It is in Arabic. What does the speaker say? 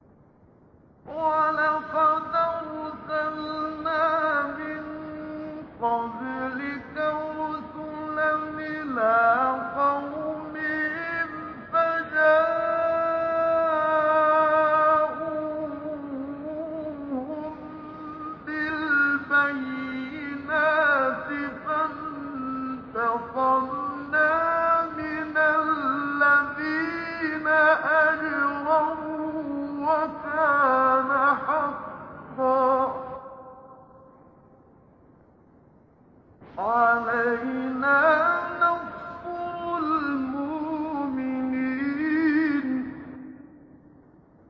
وَلَقَدْ أَرْسَلْنَا مِن قَبْلِكَ رُسُلًا إِلَىٰ قَوْمِهِمْ فَجَاءُوهُم بِالْبَيِّنَاتِ فَانتَقَمْنَا مِنَ الَّذِينَ أَجْرَمُوا ۖ وَكَانَ حَقًّا عَلَيْنَا نَصْرُ الْمُؤْمِنِينَ